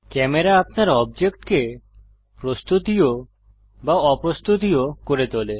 camera আপনার অবজেক্টকে প্রস্তুতীয় বা অপ্রস্তুতীয় করে তোলে